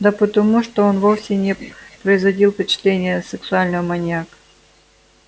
да потому что он вовсе не производил впечатления сексуального маньяка